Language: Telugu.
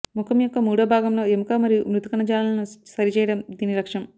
ముఖం యొక్క మూడో భాగంలో ఎముక మరియు మృదు కణజాలాలను సరిచేయడం దీని లక్ష్యం